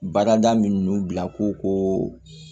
Bada minun bila ko